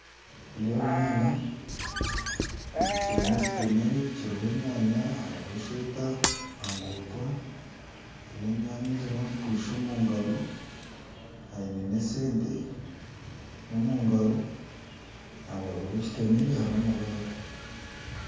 Nindeeba omwana w'omwishiki aine ekitemere kiriho enyaanya hariho esweta aha ruguudo, haine enyanya ezimwe azikwatsire omu ngaro, aine n'esente omu ngaro aharubaju rw'ekitemere hariho amabaare.